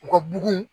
U ka bugun